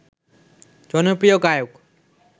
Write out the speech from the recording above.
জনপ্রিয় গায়ক